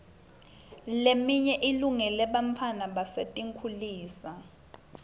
leminye ilungele bantfwana basetinkhulisa